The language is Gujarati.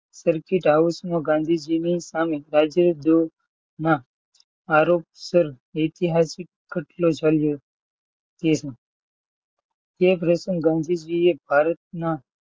સર્કિટ હાઉસમાં ગાંધીજી ની સામે રાજદ્રોમાં આરોપ સર ઇતિહાસિક કટલો ચાલ્યો. તે પ્રશ્ન એ ગાંધીજીએ ભારતના